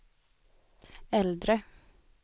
äldre